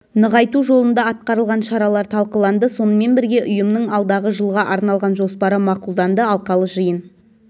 нығайту жолында атқарылған шаралар талқыланды сонымен бірге ұйымның алдағы жылға арналған жоспары мақұлданды алқалы жиын